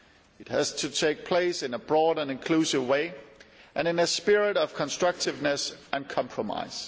It has to take place in a broad and inclusive way, and in a spirit of constructiveness and compromise.